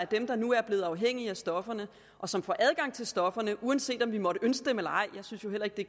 dem der nu er blevet afhængige af stoffer og som får adgang til stofferne uanset om vi måtte ønske det eller ej jeg synes heller ikke det